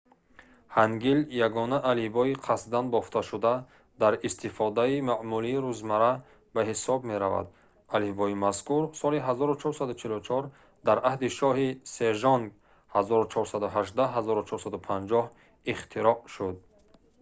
ҳангил ягона алифбои қасдан бофташуда дар истифодаи маъмули рӯзмарра ба ҳисоб меравад. алифбои мазкур соли 1444 дар аҳди шоҳи сежонг 1418-1450 ихтироъ шуд